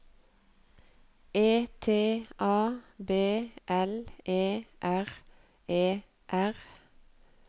E T A B L E R E R